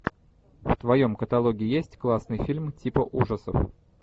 в твоем каталоге есть классный фильм типа ужасов